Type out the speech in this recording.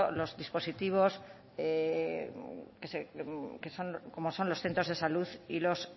dispositivos como son los centros de salud y los